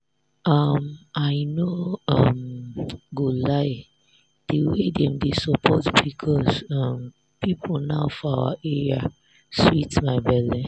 um i no um go lie di way dem dey support pcos um people now for our area sweet my belle.